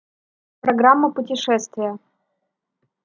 программа путешествия